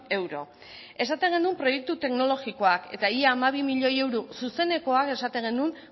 euro esaten genuen proiektu teknologikoak eta ia hamabi milioi euro zuzenekoak esaten genuen